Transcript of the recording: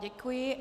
Děkuji.